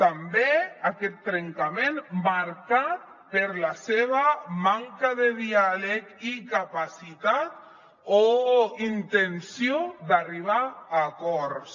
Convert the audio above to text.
també aquest trencament marcat per la seva manca de diàleg i capacitat o intenció d’arribar a acords